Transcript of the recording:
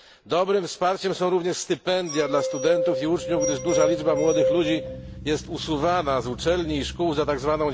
Dobrym wsparciem są również stypendia dla studentów i uczniów, gdyż duża liczba młodych ludzi jest usuwana z uczelni i szkół za tzw.